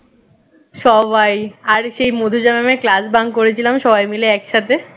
সবাই আর সেই মধুজা mam এর class bunk করেছিলাম সবাই মিলে একসাথে